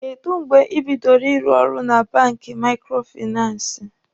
Kèdụ́ mgbe ị bidoro ịrụ ọrụ na banki maikrofinansi?